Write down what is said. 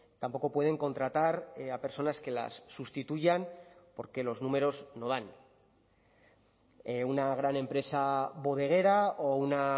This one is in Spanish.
tampoco pueden contratar a personas que las sustituyan porque los números no dan una gran empresa bodeguera o una